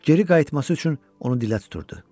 geri qayıtması üçün onu dilə tuturdu.